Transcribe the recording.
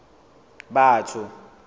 batho